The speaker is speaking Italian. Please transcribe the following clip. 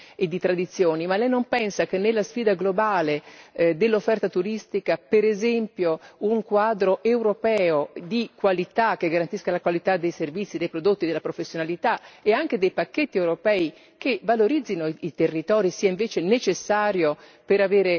Lei non pensa che nella sfida globale dell'offerta turistica, per esempio, un quadro europeo di qualità, che garantisca la qualità dei servizi, dei prodotti, della professionalità e anche dei pacchetti europei che valorizzano i territori, sia invece necessario per vincere questa sfida?